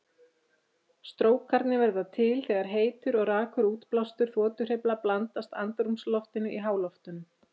Strókarnir verða til þegar heitur og rakur útblástur þotuhreyfla blandast andrúmsloftinu í háloftunum.